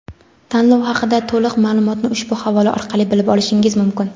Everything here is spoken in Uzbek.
Tanlov haqida to‘liq ma’lumotni ushbu havola orqali bilib olishingiz mumkin.